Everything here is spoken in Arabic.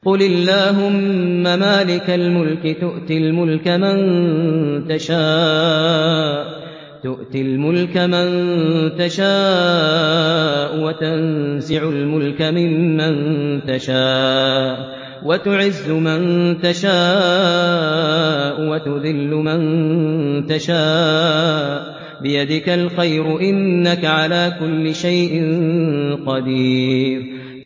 قُلِ اللَّهُمَّ مَالِكَ الْمُلْكِ تُؤْتِي الْمُلْكَ مَن تَشَاءُ وَتَنزِعُ الْمُلْكَ مِمَّن تَشَاءُ وَتُعِزُّ مَن تَشَاءُ وَتُذِلُّ مَن تَشَاءُ ۖ بِيَدِكَ الْخَيْرُ ۖ إِنَّكَ عَلَىٰ كُلِّ شَيْءٍ قَدِيرٌ